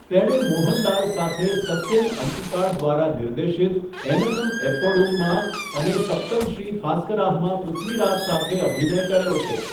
તેણે મોહનલાલ સાથે સત્યન અંતિકાડ દ્વારા નિર્દેશિત 'એનનમ એપ્પોડુમ' માં અને 'સપ્તમશ્રી થાસ્કરાહ' માં પૃથ્વીરાજ સાથે અભિનય કર્યો છે.